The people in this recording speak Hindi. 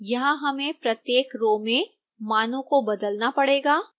यहां हमें प्रत्येक रो में मानों को बदलना पड़ेगा